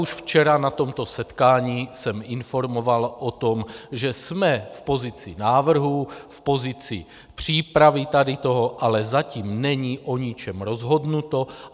Už včera na tomto setkání jsem informoval o tom, že jsme v pozici návrhu, v pozici přípravy tady toho, ale zatím není o ničem rozhodnuto.